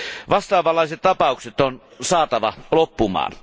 Vastaavanlaiset tapaukset on saatava loppumaan.